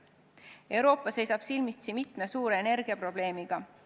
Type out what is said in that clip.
Euroopa seisab silmitsi mitme suure energiaprobleemiga.